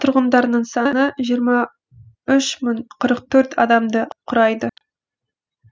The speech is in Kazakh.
тұрғындарының саны жиырма үш мың қырық төрт адамды құрайды